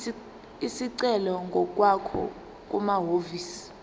isicelo ngokwakho kumahhovisi